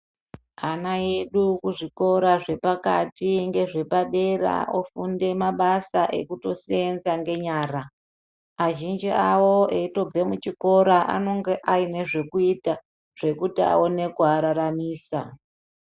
Ana edu muzvikora zvipakati ngezvepadera ofunde mabasa ekundoseenza ngenyara. Azhinji awo eichitobve kuchikora anonge aine zvokuita zvekuti aone kuararamisa.